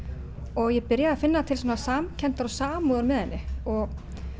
og ég byrjaði að finna til samkenndar og samúðar með henni og